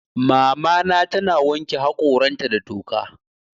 Mamana tana wanke haƙoranta da toka.